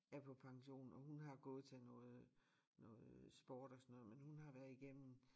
Er på pension og hun har gået til noget noget sport og sådan noget men hun har været igennem